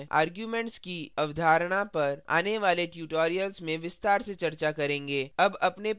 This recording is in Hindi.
arguments की अवधारणा पर आने वाले tutorials में विस्तार से चर्चा करेंगे